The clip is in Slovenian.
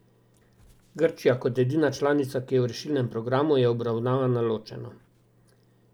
Grčija kot edina članica, ki je v rešilnem programu, je obravnavana ločeno.